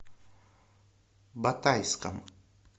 батайском